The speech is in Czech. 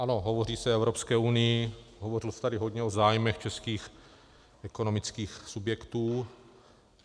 Ano, hovoří se o Evropské unii, hovořilo se tady hodně o zájmech českých ekonomických subjektů.